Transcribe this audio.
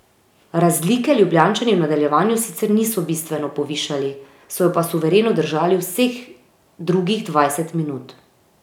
Razlike Ljubljančani v nadaljevanju sicer niso bistveno povišali, so jo pa suvereno držali vseh drugih dvajset minut.